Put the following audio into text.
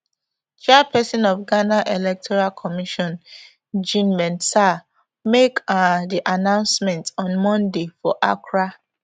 chairpesin of ghana electoral commission jean mensa make um di announcement on monday for accra